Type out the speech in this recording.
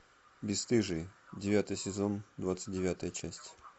бесстыжие девятый сезон двадцать девятая часть